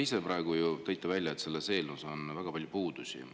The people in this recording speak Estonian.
No te ise praegu ju tõite välja, et selles eelnõus on väga palju puudusi.